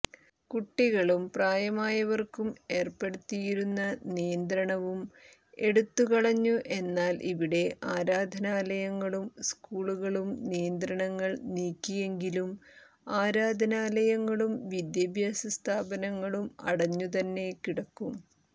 കുട്ടികളും പ്രായമായവർക്കും ഏർപ്പെടുത്തിയിരുന്ന നിയന്ത്രണവും എടുത്തുകളഞ്ഞു എന്നാൽ ഇവിടെ ആരാധനാലയങ്ങളും സ്കൂളുകളുംനിയന്ത്രണങ്ങൾ നീക്കിയെങ്കിലും ആരാധനാലയങ്ങളും വിദ്യാഭ്യാസ സ്ഥാപനങ്ങളും അടഞ്ഞുതന്നെ കിടക്കും